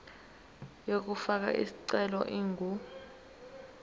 yokufaka isicelo ingu